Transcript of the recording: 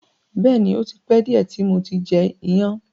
Bẹ́ẹ̀ni, ò ti pẹ diẹ ti mo ti jẹ iyan.